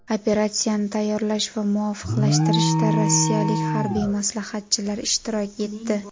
Operatsiyani tayyorlash va muvofiqlashtirishda rossiyalik harbiy maslahatchilar ishtirok etdi.